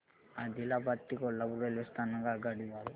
आदिलाबाद ते कोल्हापूर रेल्वे स्थानक आगगाडी द्वारे